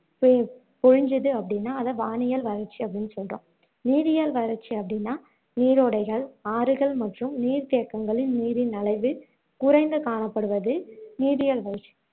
பெய் பொழிஞ்சுது அப்படின்னா அதை வானியல் வறட்சி அப்படின்னு சொல்றோம் நீரியல் வறட்சி அப்படின்னா நீரோடைகள், ஆறுகள் மற்றும் நீர்தேக்கங்களில் நீரின் அளவு குறைந்து காணப்படுவது நீரியல் வறட்சி